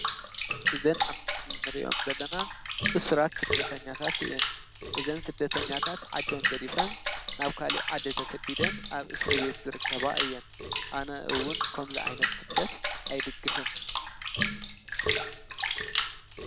እዘን ኣብ ምስሊንርእዮም ዘለና እሱራት ስደተኛታት እእን እዘን ሥደተኛታት ዓደ ንገዲፈን ናብ ካል ዓዲ ተሰዲደን ኣብ እሱሪ ቤት ዝርከባ እየን ኣነእውን ከም ዝ ዓይነት ሥደት ኣይድግፍን።